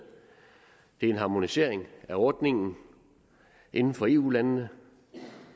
det er en harmonisering af ordningen inden for eu landene